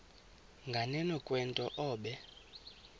nganeno kwento obe